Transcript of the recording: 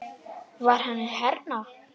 Var hann hérna?